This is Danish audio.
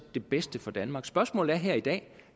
det bedste for danmark spørgsmålet her i dag